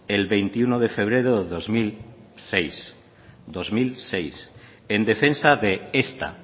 el veintiuno de febrero de dos mil seis dos mil seis en defensa de esta